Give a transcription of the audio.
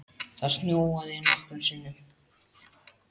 Það snjóaði nokkrum sinnum.